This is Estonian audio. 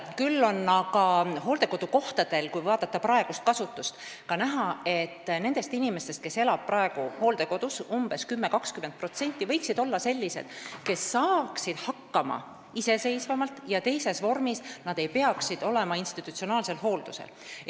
Küll on aga hooldekodukohtade puhul, kui vaadata praegust kasutust, näha seda, et nendest inimestest, kes elavad hooldekodus, umbes 10–20% võiksid olla sellised, kes saaksid hakkama iseseisvamalt ja teises vormis, st nad ei peaks olema institutsionaalsel hooldusel.